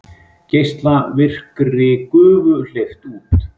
Geislavirkri gufu hleypt út